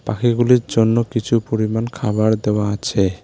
পাখিগুলির জন্য কিছু পরিমাণ খাওয়ার দেওয়া আছে।